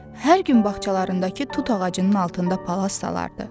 Hər gün bağçalarındakı tut ağacının altında palaz salardı.